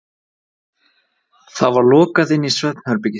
Það var lokað inn í svefnherbergið.